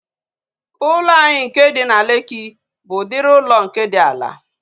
Ụlọ anyị nke dị na Lekki bụ udiri ụlọ nke dị ala